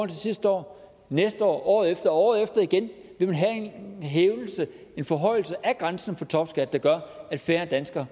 til sidste år næste år året efter og året efter igen vil man have en forhøjelse af grænsen for topskat der gør at færre danskere